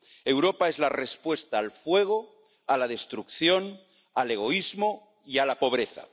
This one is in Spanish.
Europa es la respuesta al fuego, a la destrucción, al egoísmo y a la pobreza.